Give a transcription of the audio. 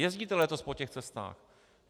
Jezdíte letos po těch cestách.